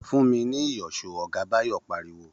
Fún mi ní ìyọ̀ṣó!, ọ̀gá Báyọ̀ pariwo